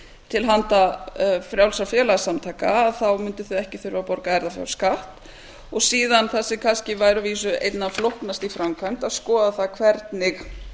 til handa frjálsra félagasamtaka þá mundu þau ekki þurfa að borga erfðafjárskatt og síðan það sem væri að vísu kannski einna flóknast í framkvæmd að skoða það hvernig